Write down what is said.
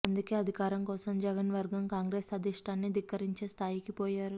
అందుకే అధికారం కోసం జగన్ వర్గం కాంగ్రెసు అధిష్ఠానాన్ని ధిక్కరించే స్థాయికి పోయారు